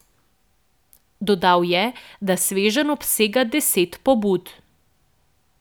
Dodal je, da sveženj obsega deset pobud.